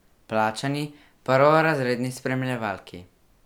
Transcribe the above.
Plačani, prvorazredni spremljevalki.